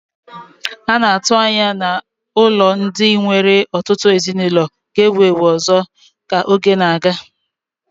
A na-atụ anya na ụlọ ndị nwere ọtụtụ ezinụlọ ga-ewu ewu ọzọ ka oge na-aga.